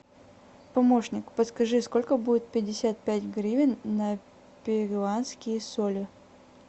помощник подскажи сколько будет пятьдесят пять гривен на перуанские соли